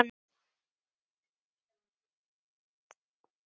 Hann skyldi þó ekki.